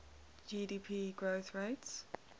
gdp growth rates